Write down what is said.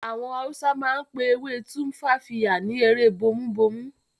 Àwọn Hausa máa ń pe ewé tumfafiya ni"ewe bomubomu"